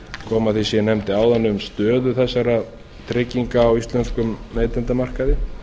koma að því sem ég nefndi áðan um stöðu þessa trygginga á íslenskum neytendamarkaði